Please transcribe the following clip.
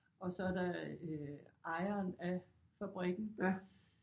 Og så er der øh ejeren af fabrikken